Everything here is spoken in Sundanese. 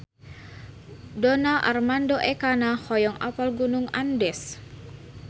Donar Armando Ekana hoyong apal Gunung Andes